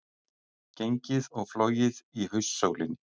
Gengið og flogið í haustsólinni